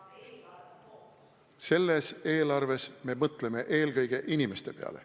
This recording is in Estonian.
Selles eelarves me mõtleme eelkõige inimeste peale.